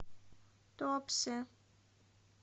туапсе